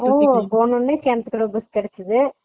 ஓ போனதும் கிணற்துகிடவு bus கெடச்சது